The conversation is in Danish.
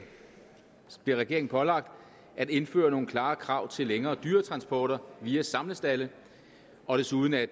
bliver regeringen pålagt at indføre nogle klare krav til længere dyretransporter via samlestalde og desuden at